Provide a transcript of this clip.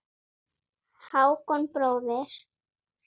Hákon bróðir.